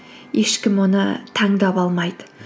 ешкім оны таңдап алмайды